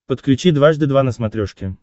подключи дважды два на смотрешке